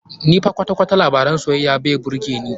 Ni fa kwata-kwata labaran soyayya ba birge ni.